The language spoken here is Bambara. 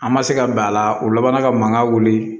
An ma se ka bɛn a la u labanna ka mankan wuli